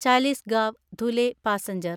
Chalisgaon Dhule passenger